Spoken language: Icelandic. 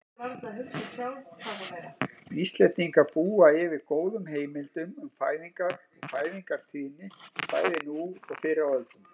Íslendingar búa yfir góðum heimildum um fæðingar og fæðingartíðni bæði nú og fyrr á öldum.